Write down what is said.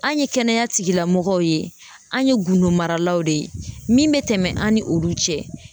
An' ye kɛnɛya tigilamɔgɔw ye, an' ye gundo maralaw de ye, min be tɛmɛ an' ni olu cɛ